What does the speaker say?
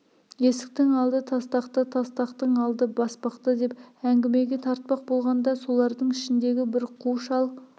есіктің алды тастақта тастақтың алды баспақта деп әңгімеге тартпақ болғанда солардың ішіндегі бір қу шал